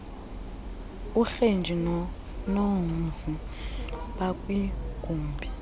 urenji nonomzi bakwigumbi